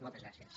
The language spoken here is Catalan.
moltes gràcies